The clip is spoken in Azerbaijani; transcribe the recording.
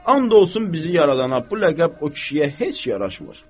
And olsun bizi yaradana, bu ləqəb o kişiyə heç yaraşmır.